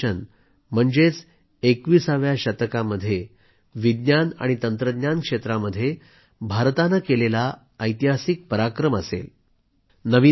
Gaganyaan mission म्हणजे 21व्या शतकामध्ये विज्ञान आणि तंत्रज्ञान क्षेत्रामध्ये भारताने केलेला ऐतिहासिक पराक्रम असेल